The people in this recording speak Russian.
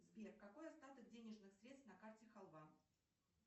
сбер какой остаток денежных средств на карте халва